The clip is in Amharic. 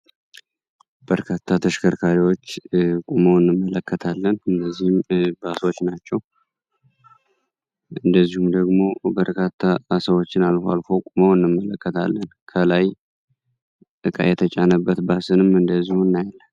በርካታ ተሽከርካሪዎች ቁመው እንመለከታለን እነዚህም ባሶች ናቸው እንደዚሁም ደግሞ በርካታ ሰዎችን አልፈው አልፈው ቁመዉ እንመለከታለን። ከላይ እቃ የተጫነበት ባስንም እንደዚሁ እናያለን።